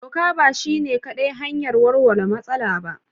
Doka ba shi ne kaɗai hanyar warware matsala ba.